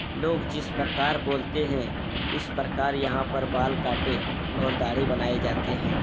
लोग जिस प्रकार बोलते हैं उस प्रकार यहाँ पर बाल काटे और दाढ़ी बनाए जाते हैं ।